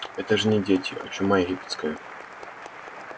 это же не дети а чума египетская